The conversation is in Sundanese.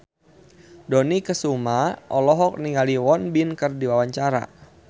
Dony Kesuma olohok ningali Won Bin keur diwawancara